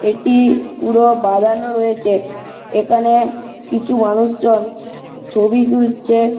এটি-ই পুরো বাঁধানো রয়েছে। এখানে কিছু মানুষজন ছবি তুলছে।